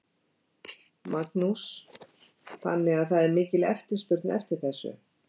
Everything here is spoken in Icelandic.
Magnús: Þannig að það er mikil eftirspurn eftir þér?